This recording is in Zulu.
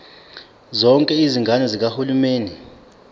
zonke izigaba zikahulumeni